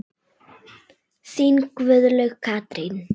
Þín Guðlaug Katrín.